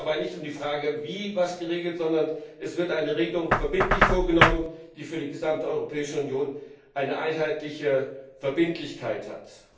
Es geht dabei nicht um die Frage, wie etwas geregelt wird, sondern es wird eine Regelung verbindlich vorgenommen, die für die gesamte Europäische Union eine einheitliche Verbindlichkeit hat.